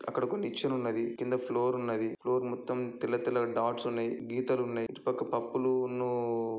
అక్కడ ఒక నిచ్చెనున్నది కింద ఫ్లోర్ ఉన్నది ఫ్లోర్ మొత్తం తెల్ల తెల్ల డాట్స్ ఉన్నాయ్ గీతలున్నాయ్ ఇటు పక్క పప్పులు ఉన్నూ